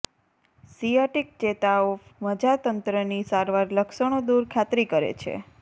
sciatic ચેતા ઓફ મજ્જાતંત્રની સારવાર લક્ષણો દૂર ખાતરી કરે છે